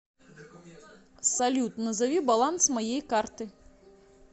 салют назови баланс моей карты